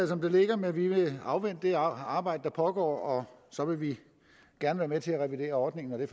som det ligger men vi vil afvente resultatet af det arbejde der pågår og så vil vi gerne være med til at revidere ordningen når det